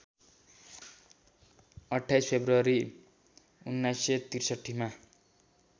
२८ February १९६३ मा